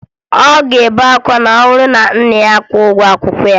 Ọ ga-ebe akwa ma ọ bụrụ na nna ya akwụghị ụgwọ akwụkwọ ya